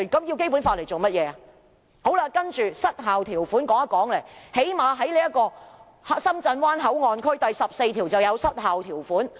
接着也談談"失效條款"，《深圳灣口岸港方口岸區條例》第14條是失效條款。